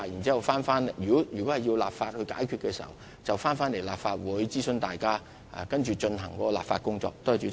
如果有需要立法，屆時便會在立法會進行諮詢，然後展開立法工作。